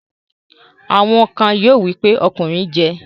Àwọn kan yóò wí pé 'ọkùnrin jẹ